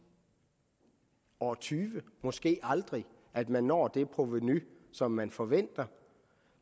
år tyve måske aldrig at man når det provenu som man forventer